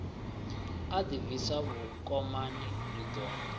a ḓibvisa vhukomani ri ḓo